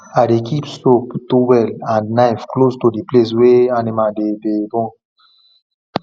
i dey keep soap towel and knife close to the place wey animal dey dey born